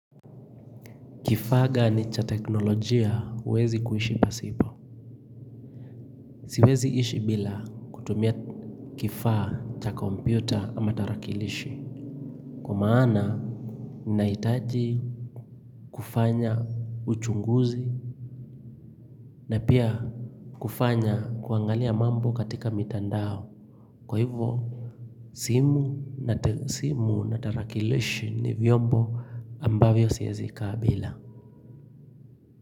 Kifaa gani cha teknolojia huwezi kuishi pasipo. Siweziishi bila kutumia kifaa cha kompyuta ama tarakilishi. Kwa maana, ninahitaji kufanya uchunguzi na pia kufanya kuangalia mambo katika mitandao. Kwa hivyo, simu na tarakilishi ni vyombo ambavyo siwezikaa bila.